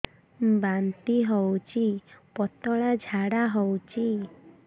ବାନ୍ତି ହଉଚି ପତଳା ଝାଡା ହଉଚି